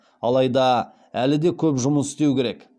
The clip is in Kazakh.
алайда әлі де көп жұмыс істеу керек